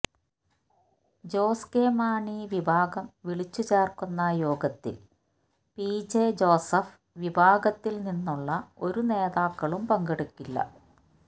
Jose K Mani വിഭാഗം വിളിച്ചു ചേര്ക്കുന്ന യോഗത്തില് പിജെ ജോസഫ് വിഭാഗത്തില് നിന്നുള്ള ഒരു നേതാക്കളും പങ്കെടുക്കില്ല